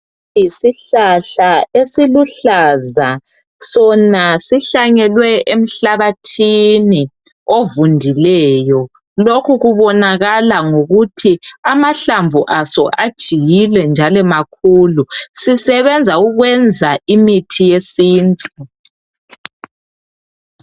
Yisihlahla esiluhlaza sona sihlanyelwe emhlabathini ovundileyo lokhu kubonakala ngokuthi amahlamvu aso ajiyile njalo makhulu. Sisebenze ukwenza imithi yesintu